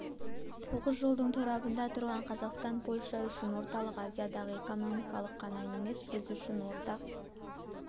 тоғыз жолдың торабында тұрған қазақстан польша үшін орталық азиядағы экономикалық іаб қана емес біз үшін ортақ